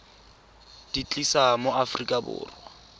di tlisa mo aforika borwa